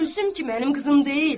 Gülsüm ki mənim qızım deyil.